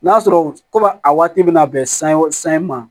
N'a sɔrɔ komi a waati bɛna bɛn san